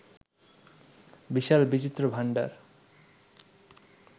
বিশাল বিচিত্র ভাণ্ডার